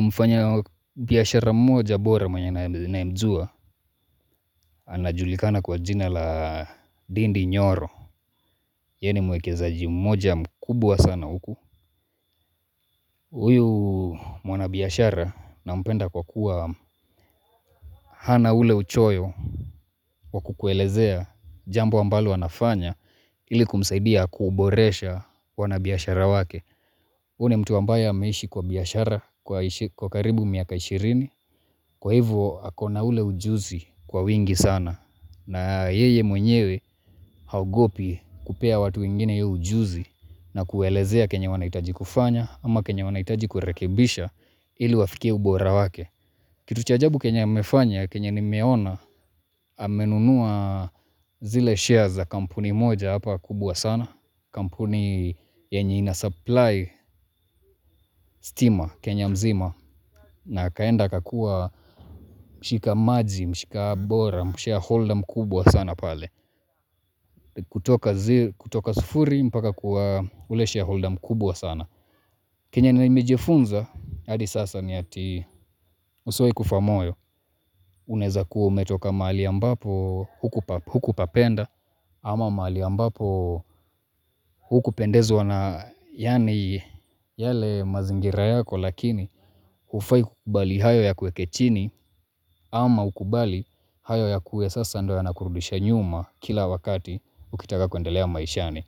Mfanyabiashara mmoja bora mwenye ninayemjua anajulikana kwa jina la dindi nyoro. Yeye ni mwekezaji mmoja mkubwa sana huku. Huyu mwanabiashara nampenda kwa kuwa hana ule uchoyo. Kwa kukuelezea jambo ambalo wanafanya ili kumsaidia kuboresha wanabiashara wake. Huyu ni mtu ambaye ameishi kwa biashara kwa karibu miaka ishirini. Kwa hivyo ako na ule ujuzi kwa wingi sana. Na yeye mwenyewe haogopi kupea watu wengine hiyo ujuzi na kuwaelezea chenye wanahitaji kufanya au chenye wanahitaji kurekebisha ili wafikie ubora wake. Kitu cha ajabu chenya amefanya, keny nimeona, amenunua zile shares za kampuni moja hapa kubwa sana. Kampuni yenye inasupply stima Kenya mzima na akaenda akakuwa mshika maji, mshika bora, mshare holder mkubwa sana pale. Kutoka sufuri mpaka kuwa ule share holder mkubwa sana. Kenye nimejifunza hadi sasa ni ati usiwahi kufa moyo. Unaweza kuwa umetoka mahali ambapo hukupapenda ama mahali ambapo hukupendezwa na yaani yale mazingira yako lakini hufai kukubali hayo yakuweke chini ama ukubali hayo yakuwe sasa ndo yanakurudisha nyuma kila wakati ukitaka kuendelea maishani.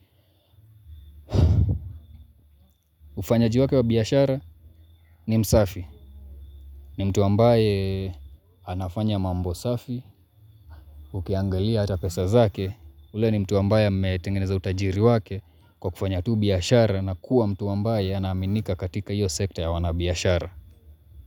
Ufanyaji wake wa biashara ni msafi, ni mtu ambaye anafanya mambo safi, ukiangalia ata pesa zake, ule ni mtu ambaye ametengeneza utajiri wake kwa kufanya tu biashara na kuwa mtu ambaye anaaminika katika hiyo sekta ya uanabiashara.